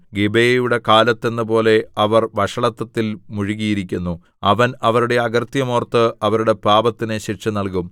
ഗിബെയയുടെ കാലത്ത് എന്നപോലെ അവർ വഷളത്വത്തിൽ മുഴുകിയിരിക്കുന്നു അവൻ അവരുടെ അകൃത്യം ഓർത്ത് അവരുടെ പാപത്തിന് ശിക്ഷ നൽകും